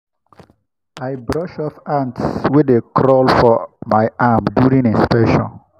i brush off ants wey dey crawl for my arm during inspection.